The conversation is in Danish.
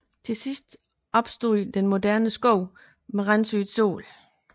Til sidst opstod den moderne sko med randsyet sål